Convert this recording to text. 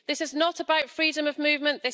This is not about freedom of movement.